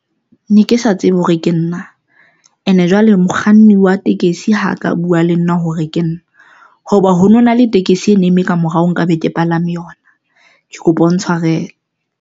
Ne ke sa tsebe hore ke nna and jwale mokganni wa tekesi ha ka buwa le nna hore ke nna hoba ho no na le tekesi ene eme kamorao nkabe ke palame yona. Ke kopa o ntshwarele.